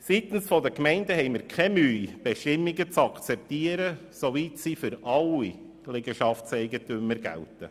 Seitens der Gemeinden haben wir keine Mühe, Bestimmungen zu akzeptieren, soweit sie für alle Liegenschaftseigentümer gelten.